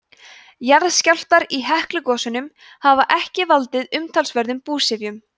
jarðskjálftar í heklugosum hafa ekki valdið umtalsverðum búsifjum